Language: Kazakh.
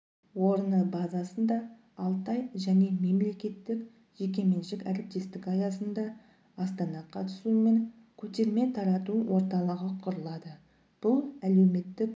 орны базасында алтай және мемлекеттік-жеке меншік әріптестік аясында астана қатысуымен көтерме-тарату орталығы құрылады бұл әлеуметтік